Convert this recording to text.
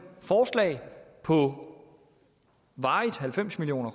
forslag på varigt halvfems million